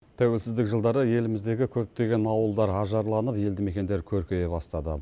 тәуелсіздік жылдары еліміздегі көптеген ауылдар ажарланып елді мекендер көркейе бастады